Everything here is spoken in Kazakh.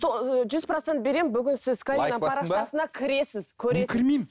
жүз процент беремін бүгін сіз каринаның парақшасына кірісіз